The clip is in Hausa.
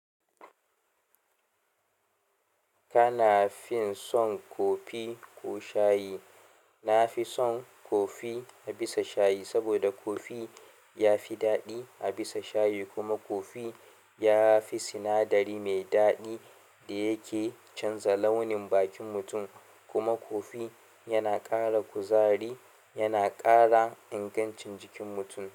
Kana fin son kofi ko shayi? Nafison kofi a bisa shayi saboda kofi yafi daɗi a bisa shayi kuma kofi yafi sinadari mai daɗi da yake canza launin bakin mutum kuma kofi yana ƙara kuzari, yana ƙara ingancin jikin mutum.